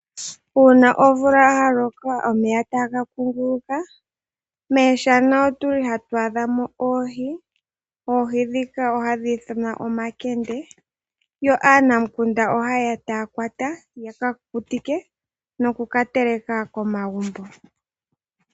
Uuna omvula ya loka omeya tagakunguluka me shana otwali hatu adhamo oohi. Oohi dhika ohadhi ithanwa oomakende yo aanamukunda oha yeya tayakwata ya kakukutike noku kateleka ko maguumbo.